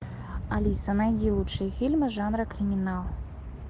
алиса найди лучшие фильмы жанра криминал